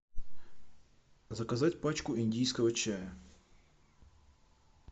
заказать пачку индийского чая